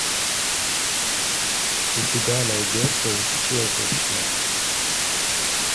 у тебя найдется исчезнувшая